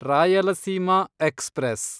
Rayalaseema express